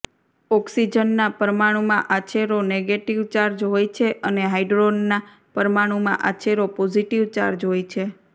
ઓક્સિજનના પરમાણુમાં આછેરો નેગેટિવ ચાર્જ હોય છે અને હાઈડ્રોનના પરમાણુમાં આછેરો પોઝિટિવ ચાર્જ હોય છે